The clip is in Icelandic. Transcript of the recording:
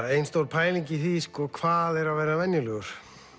ein stór pæling í því hvað er að vera venjulegur